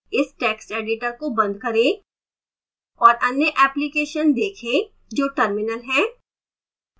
इस text editor को बंद करें और अन्य application देखें जो terminal है